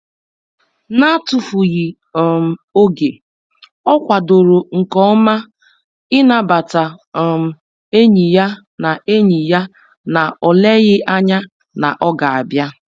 N'atufughị um oge, ọ kwadoro nke ọma ịnabata um enyi ya na enyi ya na o leghị ányá na ọ ga-abịa.